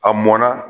A mɔnna